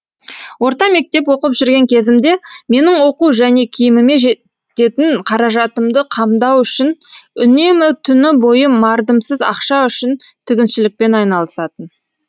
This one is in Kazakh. орта мектеп оқып жүрген кезімде менің оқу және киіміме кететін қаражатымды қамдау үшін үнемі түні бойы мардымсыз ақша үшін тігіншілікпен айналысатын